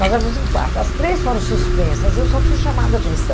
Nós éramos em quarto, as três foram suspensas, eu só fui chamada a atenção.